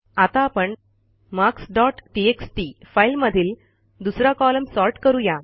आता आपण marks dot text फाईलमधील दुसरा कॉलम सॉर्ट करू या